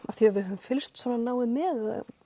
af því að við höfum fylgst svona náið með eða